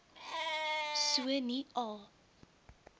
so nie a